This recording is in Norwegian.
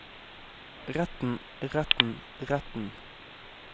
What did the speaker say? retten retten retten